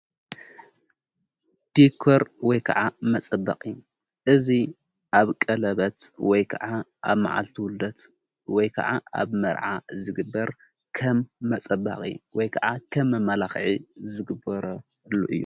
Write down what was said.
ዲኮር ወይ ከዓ መጸበቒ እዙይ ኣብ ቀለበት ወይ ከዓ ኣብ መዓልቲ ውለት ወይ ከዓ ኣብ መርዓ ዝግበር ከም መጸበቒ ወይ ከዓ ከም ኣመላኽዐ ዘግበረሉ እዩ።